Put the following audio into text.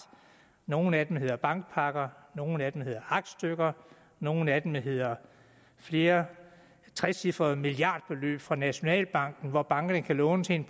nogle af dem hedder bankpakker nogle af dem hedder aktstykker og nogle af dem hedder flere trecifrede milliardbeløb fra nationalbanken hvor bankerne kan låne til en